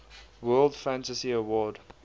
world fantasy award